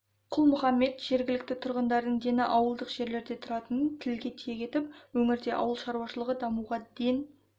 құл-мұхаммед жергілікті тұрғындардың дені ауылдық жерлерде тұратынын тілге тиек етіп өңірде ауыл шаруашылығын дамытуға ден